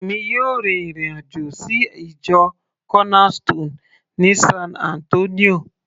èmi yóò rin ìrìn àjò sí ìjọ corner stone ní san Antonio